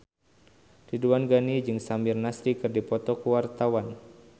Ridwan Ghani jeung Samir Nasri keur dipoto ku wartawan